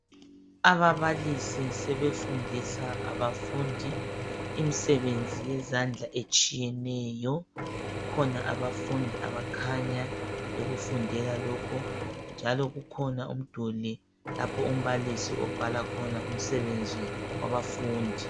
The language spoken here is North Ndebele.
Ababalisi sebefundisa abafundi imisebenzi yezandla etshiyeneyo. Kukhona abafundi abakhanya bekufundela lokhu, njalo kukhona umduli lapho umbalisi abhala khona umsebenzi wabafundi.